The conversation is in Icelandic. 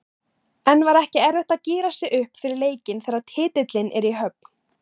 En var ekki erfitt að gíra sig upp fyrir leikinn þegar titillinn er í höfn?